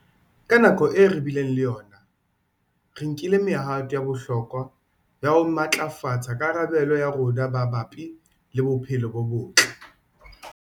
Ka nako eo re bileng le yona, re nkile mehato ya bohlokwa ya ho matlafatsa karabelo ya rona mabapi le bophelo bo botle.